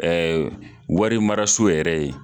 warimaraso yɛrɛ ye.